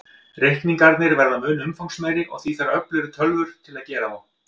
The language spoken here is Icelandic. Reikningarnir verða mun umfangsmeiri, og því þarf öflugri tölvur til að gera þá.